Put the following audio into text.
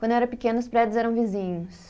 Quando eu era pequena, os prédios eram vizinhos.